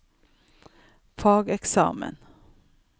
fageksamen